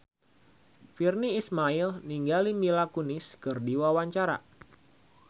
Virnie Ismail olohok ningali Mila Kunis keur diwawancara